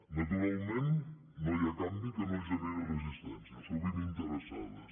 naturalment no hi ha canvi que no generi resistències sovint interessades